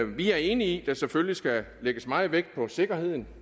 vi er enige i at der selvfølgelig skal lægges meget vægt på sikkerheden